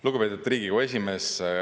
Lugupeetud Riigikogu esimees!